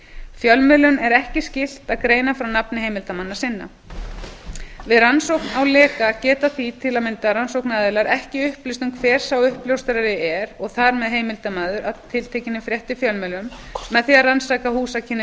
fjölmiðlum er ekki skylt að greina frá nafni heimildarmanna sinna við rannsókn á leka geta því til að mynda rannsóknaraðilar ekki upplýst um hver sá uppljóstrari er og þar með heimildarmaður að tiltekinni frétt í fjölmiðlum með því að rannsaka húsakynni